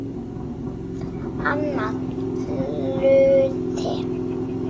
Annar hluti